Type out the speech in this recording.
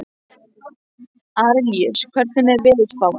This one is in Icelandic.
Arilíus, hvernig er veðurspáin?